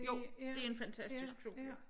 Jo det en fantastisk skole